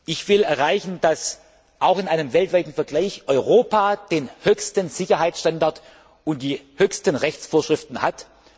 Ich will erreichen, dass Europa auch in einem weltweiten Vergleich den höchsten Sicherheitsstandard und die höchsten Rechtsvorschriften hat.